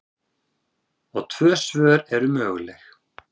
Og tvö svör eru möguleg.